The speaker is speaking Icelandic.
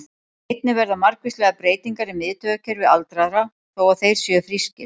Einnig verða margvíslegar breytingar í miðtaugakerfi aldraðra, þó að þeir séu frískir.